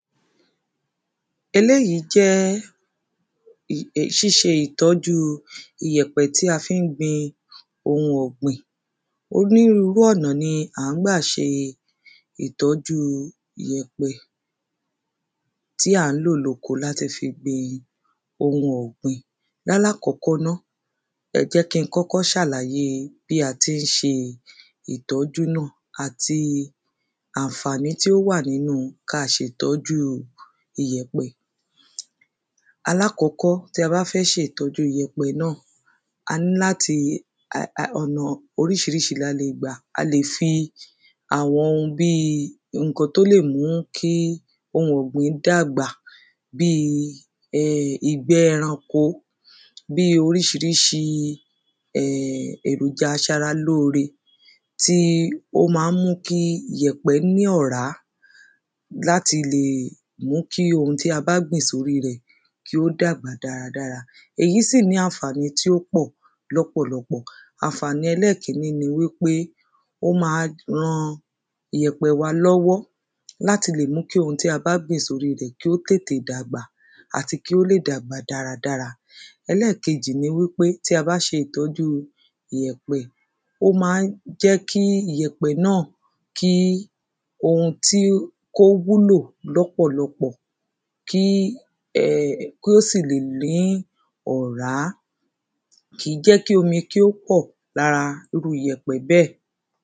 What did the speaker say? Eléyìí jẹ́ ṣíṣe ìtọ́jú iyẹ̀pẹ̀ tí a fi ń gbin oun ọ̀gbìn Onírúrú ọ̀nà ni à ń gbà ṣe ìtọ́jú iyẹ̀pẹ̀ tí à ń lò ní oko láti fi gbin oun ọ̀gbìn Ní alákọ́kọ́ ná ẹ jẹ́ kí ń kọ́kọ́ ṣàlàyé bí a ti ń ṣe ìtọ́jú náà àti àǹfàní tí ó wà nínú kí a ṣe ìtọ́jú iyẹ̀pẹ̀ Alákọ́kọ́ tí a bá fẹ́ ṣe ìtọ́jú iyẹ̀pẹ̀ náà a ní láti um ọ̀nà oríṣiríṣi ni a lè gbà A lè fi àwọn bíi nǹkan tí ó lè mú kí oun ọ̀gbìn dàgbà Bíi ìgbẹ́ ẹranko bíi oríṣiríṣi èròjà aṣaralóore tí ó ma ń mú kí iyẹ̀pẹ̀ ní ọ̀rá láti lè mú kí oun tí a bá gbìn sí orí rẹ̀ kí ó dàgbà dáadáa Èyí sì ní àǹfàní tí ó pọ̀ lọ́pọ̀lọpọ̀ Àǹfàní ẹlẹ́ẹ̀kíní ni wípé ó ma ran iyẹ̀pẹ̀ wa lọ́wọ́ láti lè mú oun tí a bá gbìn sí orí rẹ̀ kí ó tètè dàgbà Àti kí ó lè dàgbà dáadáa Ẹlẹ́ẹ̀kejì ni wípé tí a bá ṣe ìtọ́jú iyẹ̀pẹ̀ ó ma ń jẹ́ kí iyẹ̀pẹ̀ náà kí oun tí kí ó wúlò lọ̀pọ̀lọpọ̀ kí um kí ó sì lè ní ọ̀rá Kìí jẹ́ kí omi kí ó pọ̀ lára irú iyẹ̀pẹ̀ bẹ́ẹ̀